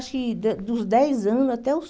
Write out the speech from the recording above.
Acho que da dos dez anos até os